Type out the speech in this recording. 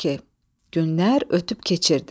Günlər ötüb keçirdi.